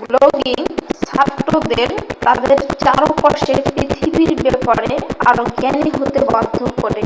"Blogging "ছাত্রদের তাদের চারপাশের পৃথিবীর ব্যাপারে আরো জ্ঞানী হতে বাধ্য করে।"